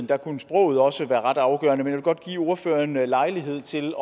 der kunne sproget også være ret afgørende men jeg vil godt give ordføreren lejlighed til